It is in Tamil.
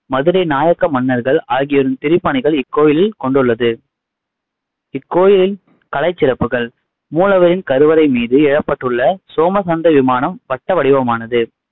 மதுரை நாயக்க மன்னர்கள் ஆகியோரின் திருப்பணிகள் இக்கோயிலில் கொண்டுள்ளது கோயிலின் கலைச் சிறப்புகள் மூலவரின் கருவறை மீது எழப்பட்டுள்ள சோமசந்த விமானம் வட்ட வடிவமானது.